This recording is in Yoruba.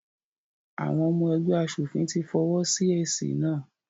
Àwọn ọmọ ẹgbẹ́ aṣòfin ti fọwọ́ sí èsì náà.